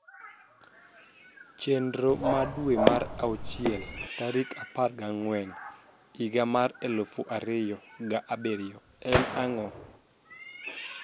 Chenro na e dwe mar auchiel tarik apar gi angwen higa mar eluf ariyo ga birio en ango